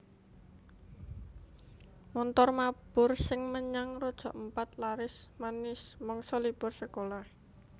Montor mabur sing menyang Raja Ampat laris manis mangsa libur sekolah